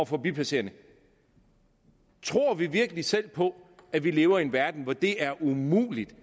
forbipasserende tror vi virkelig selv på at vi lever i en verden hvor det er umuligt